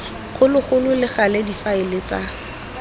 kgologolo le gale difaele tsa